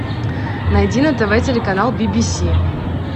найди на тв телеканал би би си